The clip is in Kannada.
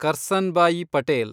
ಕರ್ಸನ್ಭಾಯಿ ಪಟೇಲ್